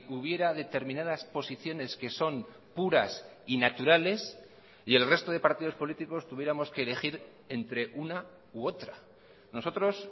hubiera determinadas posiciones que son puras y naturales y el resto de partidos políticos tuviéramos que elegir entre una u otra nosotros